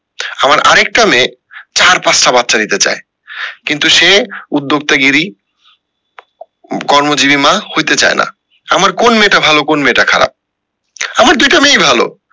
আবার আরেকটা মেয়ে চার পাঁচটা বাচ্চা নিতে চায় কিন্তু সে উদ্যোক্তা গিরি কর্মজীবী মা হইতে চায় না আমার কোন মেয়েটা ভালো কোন মেয়েটা খারাপ? আমার দুইটা মেয়ে ই ভালো